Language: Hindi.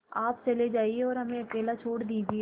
आप चले जाइए और हमें अकेला छोड़ दीजिए